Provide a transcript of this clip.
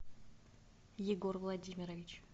егор владимирович